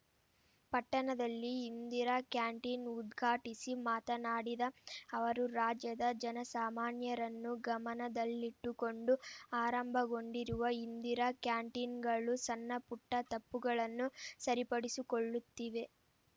ಪಟ್ಟಣದಲ್ಲಿ ಇಂದಿರಾ ಕ್ಯಾಂಟೀನ್‌ ಉದ್ಘಾಟಿಸಿ ಮಾತನಾಡಿದ ಅವರು ರಾಜ್ಯದ ಜನಸಾಮಾನ್ಯರನ್ನು ಗಮನದಲ್ಲಿಟ್ಟುಕೊಂಡು ಆರಂಭಗೊಂಡಿರುವ ಇಂದಿರಾ ಕ್ಯಾಂಟೀನ್‌ಗಳು ಸಣ್ಣಪುಟ್ಟ ತಪ್ಪುಗಳನ್ನು ಸರಿಪಡಿಸಿಕೊಳ್ಳುತ್ತಿವೆ